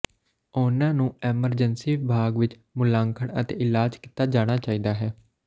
ਉਹਨਾਂ ਨੂੰ ਐਮਰਜੈਂਸੀ ਵਿਭਾਗ ਵਿੱਚ ਮੁਲਾਂਕਣ ਅਤੇ ਇਲਾਜ ਕੀਤਾ ਜਾਣਾ ਚਾਹੀਦਾ ਹੈ